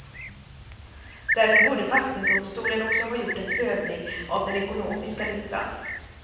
Därför borde vattendomstolen också ha gjort en prövning av den ekonomiska nyttan.